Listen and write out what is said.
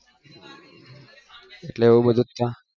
એટલે એવું બધું ત્યાં